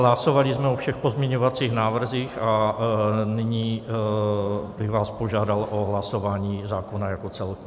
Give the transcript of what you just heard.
Hlasovali jsme o všech pozměňovacích návrzích a nyní bych vás požádal o hlasování zákona jako celku.